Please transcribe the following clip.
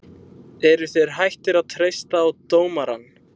Eruð þeir hættir að treysta á dómarann?